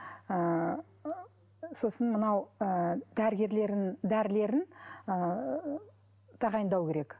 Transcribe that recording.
ыыы сосын мынау ы дәрігерлерін дәрілерін ыыы тағайындау керек